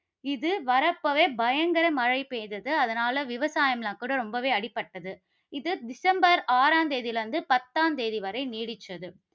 இது வர்றப்பவே பயங்கர மழை பெய்தது. அதனால, விவசாயம்லாம் கூட ரொம்பவே அடிபட்டது. இது டிசம்பர் ஆறாம் தேதியிலிருந்து பத்தாம் தேதி வரை நீடிச்சது.